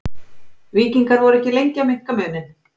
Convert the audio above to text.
Víkingar voru ekki lengi að minnka muninn.